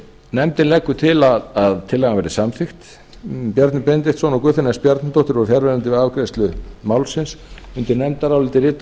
nefndin leggur til að tillagan verði samþykkt bjarni benediktsson og guðfinna s bjarnadóttir voru fjarverandi við afgreiðslu málsins undir nefndarálitið rita